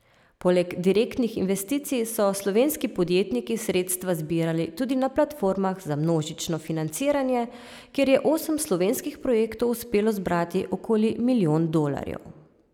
Poleg direktnih investicij so slovenski podjetniki sredstva zbirali tudi na platformah za množično financiranje, kjer je osem slovenskih projektov uspelo zbrati okoli milijon dolarjev.